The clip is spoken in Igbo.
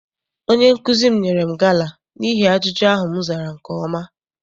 Onye nkụzi m nyere m gala n'ihi ajụjụ ahụ m zara nke ọma.